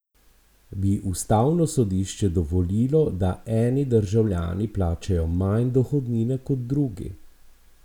Bi ustavno sodišče dovolilo, da eni državljani plačajo manj dohodnine kot drugi?